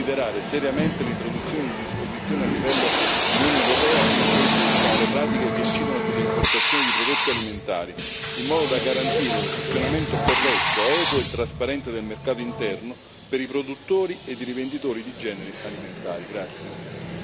La Commissione deve considerare seriamente l'introduzione di disposizioni a livello di Unione europea, che proibiscano le pratiche che incidono sulle importazioni di prodotti alimentari, in modo da garantire un funzionamento corretto, equo e trasparente del mercato interno, per i produttori ed i rivenditori di generi alimentari.